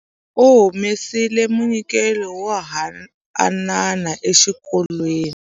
Va humesile munyikelo wo haanana exikolweni.